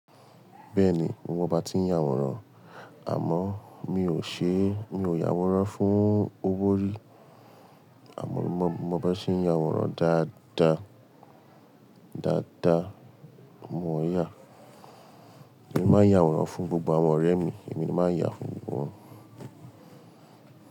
Bẹ́ẹ̀ni, mo máa bá a tí ń yàwòrán, àmọ́ mi ò ṣe, mi ò yàwòrán fún owó rí. Àmọ́ mo, mo bá ṣe ń yàwòrán dáadáa, dáadáa, mo yà. Mo máa ń yàwòrán fún gbogbo ọmọ ọ̀rẹ́ mi, èmi ni máa ń yà fún gbogbo wọn.